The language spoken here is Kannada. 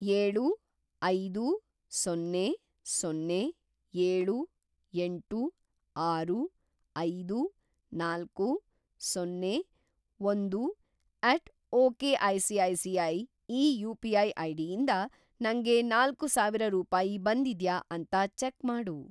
ಏಳು, ಐದು, ಸೊನ್ನೆ, ಸೊನ್ನೆ, ಏಳು, ಎಂಟು, ಆರು, ಐದು, ನಾಲ್ಕು, ಸೊನ್ನೆ, ಒಂದು ಎಟ್ ಒಕೆಸಿಐಸಿಐ ಈ ಯು.ಪಿ.ಐ. ಐಡಿಯಿಂದ ನಂಗೆ ನಾಲ್ಕುಸಾವಿರ ರೂಪಾಯಿ ಬಂದಿದ್ಯಾ ಅಂತ ಚೆಕ್‌ ಮಾಡು.